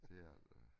Det er det da